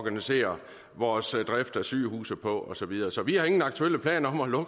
organisere vores drift af sygehuse på og så videre så vi har ingen aktuelle planer om at